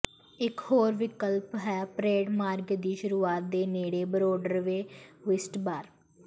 ਇਕ ਹੋਰ ਵਿਕਲਪ ਹੈ ਪਰੇਡ ਮਾਰਗ ਦੀ ਸ਼ੁਰੂਆਤ ਦੇ ਨੇੜੇ ਬਰੋਡਰਵੇ ਓਈਸਟ ਬਾਰ